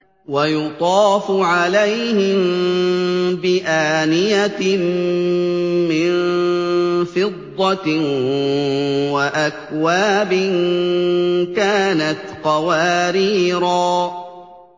وَيُطَافُ عَلَيْهِم بِآنِيَةٍ مِّن فِضَّةٍ وَأَكْوَابٍ كَانَتْ قَوَارِيرَا